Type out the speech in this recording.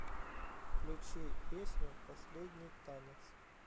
включи песню последний танец